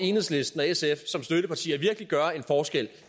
enhedslisten og sf som støttepartier virkelig gøre en forskel